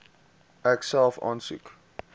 ek self aansoek